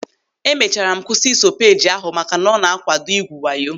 E mechara m kwụsị iso peeji ahụ maka ọ na-akwado ikwu wayo.